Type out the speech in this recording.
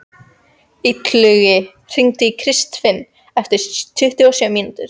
Illugi, hringdu í Kristfinnu eftir tuttugu og sjö mínútur.